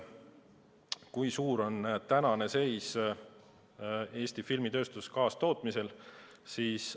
Kui suur on praegu Eesti filmitööstuses kaastootmise osa?